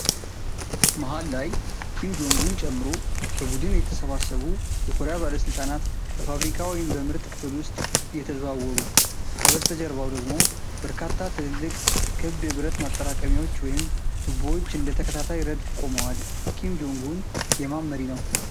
መሃል ላይ ኪም ጆንግ ኡን ጨምሮ በቡድን የተሰባሰቡ የኮሪያ ባለስልጣናት በፋብሪካ ወይም በምርት ክፍል ውስጥ እየተዘዋወሩ። ከበስተጀርባው ደግሞ በርካታ ትልልቅ፣ ክብ የብረት ማጠራቀሚያዎች ወይም ቱቦዎች እንደ ተከታታይ ረድፍ ቆመዋል። ኪም ጆንግ ኡን የማን መሪ ነው።